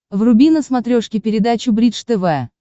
вруби на смотрешке передачу бридж тв